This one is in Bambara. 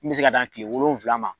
Min mi se ka dan kile wolonwula ma.